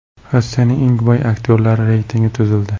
Rossiyaning eng boy aktyorlari reytingi tuzildi.